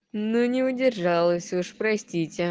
ну не удержалась уж простите